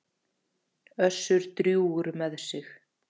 Össur drjúgur með sig.